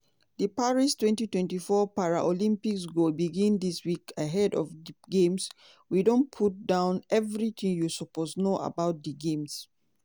di paris twenty twenty four paralympics go begin dis week ahead of di games we don put down evritin you suppose know about di games.